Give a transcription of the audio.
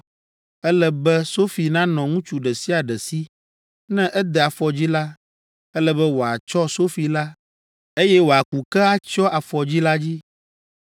Ele be sofi nanɔ ŋutsu ɖe sia ɖe si. Ne ede afɔdzi la, ele be wòatsɔ sofi la, eye wòaku ke atsyɔ afɔdzi la dzi.